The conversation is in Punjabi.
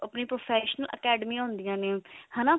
ਆਪਣੀਆਂ professional academy ਹੁੰਦੀਆਂ ਨੇ ਹਨਾ